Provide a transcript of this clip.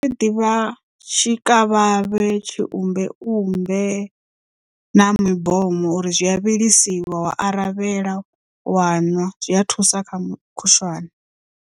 Ndi ḓivha tshikavhavhe, tshiumbeumbe na mibomo uri zwi a vhilisiwa wa aravhela waṅwa zwi a thusa kha mukhushwane.